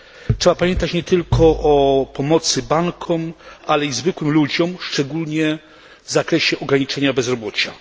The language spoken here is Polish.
Trzeba pamiętać nie tylko o pomocy bankom, ale i zwykłym ludziom, szczególnie w zakresie ograniczenia bezrobocia.